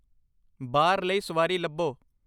ਬਾਰ ਲਈ ਸਵਾਰੀ ਲੱਭੋ